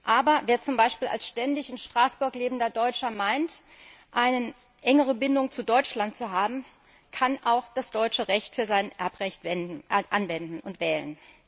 Aber wer zum Beispiel als ständig in Straßburg lebender Deutscher meint, eine engere Bindung zu Deutschland zu haben, kann auch das deutsche Recht für sein Erbrecht anwenden und wählen.